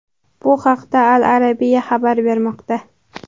Bu haqda Al-Arabia xabar bermoqda .